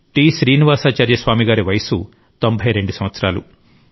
శ్రీనివాసాచార్య స్వామి గారి వయస్సు 92 సంవత్సరాలు